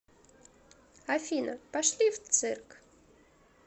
афина пошли в цирк